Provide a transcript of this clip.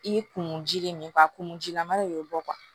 I ye kunji de min fɔ a kun jilama de y'o bɔ